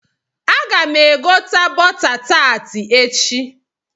Aga m egota bọta taati echi.